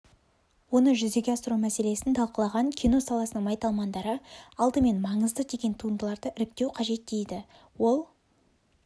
оны жүзеге асыру мәселесін талқылаған кино саласының майталмандары алдымен маңызды деген туындыларды іріктеу қажет дейді ол